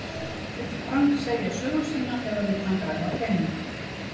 Vill Frank segja sögu sína eða vill hann græða pening?